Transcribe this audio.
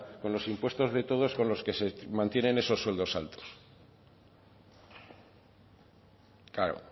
con los impuestos de todos con los que se mantienen esos sueldos altos claro